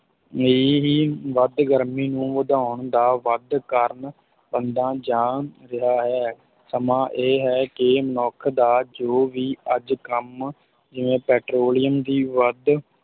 ਇਹੀ ਵੱਧ ਗਰਮੀ ਨੂੰ ਵਧਾਉਣ ਦਾ ਵੱਧ ਕਾਰਨ ਬਣਦਾ ਜਾ ਰਿਹਾ ਹੈ, ਸਮਾਂ ਇਹ ਹੈ ਕਿ ਮੱਨੁਖ ਦਾ ਜੋ ਵੀ ਅੱਜ ਕੰਮ ਜਿਵੇਂ ਪੈਟ੍ਰੋਲੀਅਮ ਦੀ ਵੱਧ,